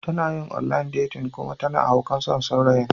Tana yin online dating kuma tana haukan son saurayin.